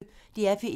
DR P1